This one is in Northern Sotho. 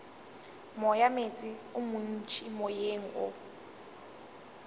moyameetse o montši moyeng o